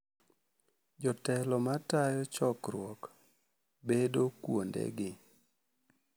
Jotelo ma tayo chokruok bedo kuondegi.